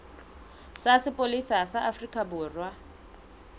sa sepolesa sa afrika borwa